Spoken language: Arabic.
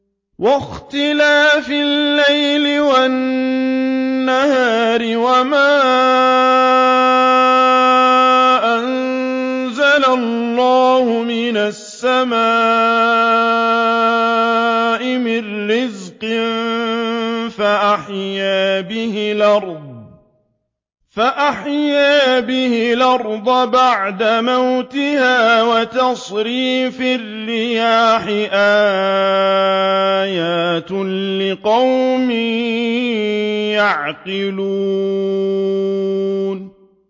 وَاخْتِلَافِ اللَّيْلِ وَالنَّهَارِ وَمَا أَنزَلَ اللَّهُ مِنَ السَّمَاءِ مِن رِّزْقٍ فَأَحْيَا بِهِ الْأَرْضَ بَعْدَ مَوْتِهَا وَتَصْرِيفِ الرِّيَاحِ آيَاتٌ لِّقَوْمٍ يَعْقِلُونَ